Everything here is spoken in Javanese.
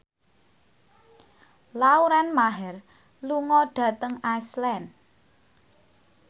Lauren Maher lunga dhateng Iceland